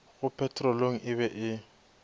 go petrolong e be e